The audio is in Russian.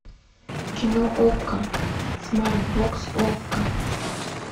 кино окко смарт бокс окко